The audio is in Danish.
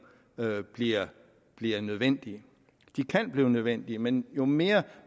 bliver bliver nødvendige de kan blive nødvendige men jo mere